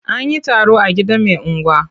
An yi taro a gidan mai unguwa.